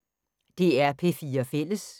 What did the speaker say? DR P4 Fælles